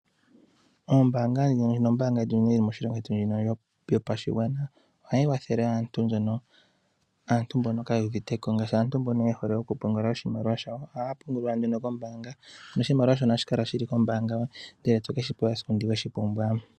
Ombaanga yotango yopashigwana moshilongo shetu ohayi kwathele aantu mba kaaya uvite ko, ngaashi aantu mba ya hala okupungula oshimaliwa shawo ohaya pungula kombaanga. Oshimaliwa shoye ohoshi pungula kombaanga e to ke shi tala ko esiku weshi pumbwa.